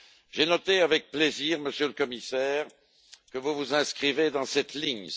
J'ai noté avec plaisir, Monsieur le Commissaire, que vous vous inscrivez dans cette ligne.